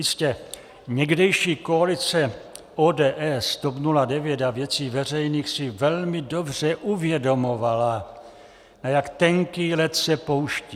Jistě, někdejší koalice ODS, TOP 09 a Věcí veřejných si velmi dobře uvědomovala, na jak tenký led se pouští.